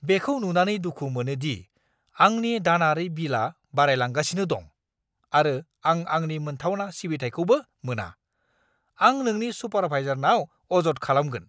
बेखौ नुनानै दुखु मोनो दि आंनि दानारि बिलआ बारायलांगासिनो दं, आरो आं आंनि मोनथावना सिबिथाइखौबो मोना। आं नोंनि सुपारभाइजारनाव अजद खालामगोन!